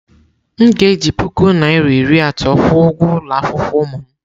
M ga-eji puku naira iri atọ kwụọ ụgwọ ụlọ akwụkwọ ụmụ m.